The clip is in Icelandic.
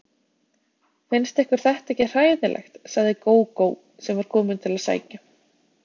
Finnst ykkur þetta ekki hræðilegt, sagði Gógó sem var komin til að sækja